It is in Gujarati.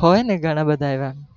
હોય ને ગણા બધા એવા,